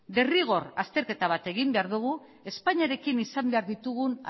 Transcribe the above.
derrigor azterketa bat egin behar dugu espainiarekin izan behar ditugun